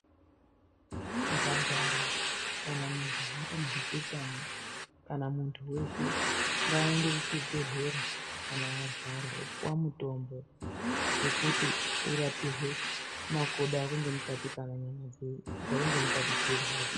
Mphandara kana majaha kana huchechana kana muntu weshe ngaaende kuchibhedhlera kana arwara opuwa mutombo, wekuti urapirwe makodo ako ngemukati kana nyama dzako ngemukati dzeirwadza.